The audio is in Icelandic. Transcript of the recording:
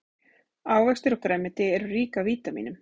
ávextir og grænmeti eru rík af vítamínum